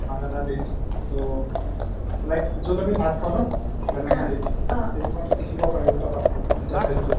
banana leaves টৌ like য'ত আমি ভাত খাও ন banana leaves অ সেইটো পাতত লিখিব পাৰি ওলটা পাতটোত ওলটা side টোত